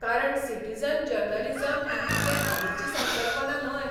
कारण citizen journalism ही कितें हालींची संकल्पना न्हय.